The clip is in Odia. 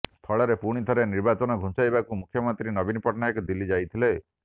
ଫଳରେ ପୁଣିଥରେ ନିର୍ବାଚନ ଘୁଞ୍ଚାଇବାକୁ ମୁଖ୍ୟମନ୍ତ୍ରୀ ନବୀନ ପଟ୍ଟନାୟକ ଦିଲ୍ଲୀ ଯାଇଥିଲେ